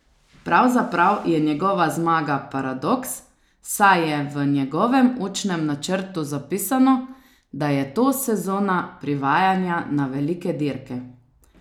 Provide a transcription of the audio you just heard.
Pravzaprav je njegova zmaga paradoks, saj je v njegovem učnem načrtu zapisano, da je to sezona privajanja na velike dirke.